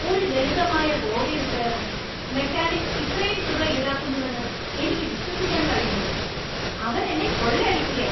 ഒരു ലളിതമായ ബോഡി റിപ്പെയറിന് മെക്കാനിക്ക് ഇത്രയും തുക ഈടാക്കുന്നുവെന്ന് എനിക്ക് വിശ്വസിക്കാൻ കഴിയുന്നില്ല! അവൻ എന്നേ കൊള്ളയടിക്കുകാ.